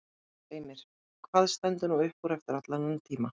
Heimir: Hvað stendur nú upp úr eftir allan þennan tíma?